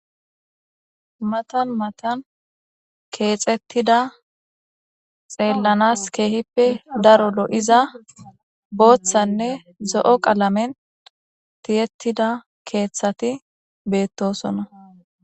Matan matan kexetida xelanas kehippe daro loiza bothanne zo'o qalamen tiyetida keeththati betosona.